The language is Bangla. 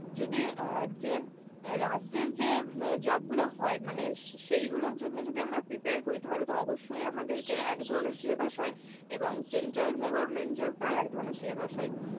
যদি, অ্যাঁ যে, রাজ্যের যে job গুলো হয় মানে সে~ সেই গুলোর জন্য যদি আমরা prepare করি তাহলেতো অবশ্যই আমাদের কে একধরনের syllabus হয়, এবং central যে government job তার এক ধরনের syllabus হয়.